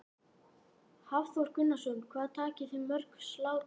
Hafþór Gunnarsson: Hvað takið þið mörg slátur?